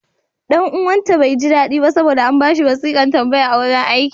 Ɗan uwanta bai ji daɗi ba saboda an ba shi wasiƙar tambaya a wurin aiki.